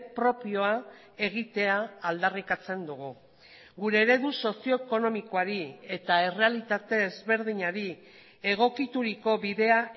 propioa egitea aldarrikatzen dugu gure eredu sozio ekonomikoari eta errealitate ezberdinari egokituriko bidea